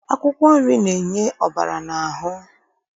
Akwụkwọ nri na-enye ọbara n'ahụ